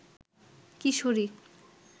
কিশোরী